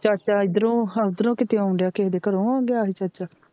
ਚਾਚਾ ਇਧਰੋਂ ਓਧਰੋਂ ਕੀਤੇ ਆਉਣ ਡਿਆ ਕਿਸੇ ਦੇ ਘਰੋਂ ਆਉਣ ਡਿਆ ਚਾਚਾ,